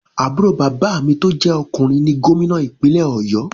Àbúrò bàbá mi tó jẹ ọkùnrin ni gómìnà ìpínlè ọ̀yọ́.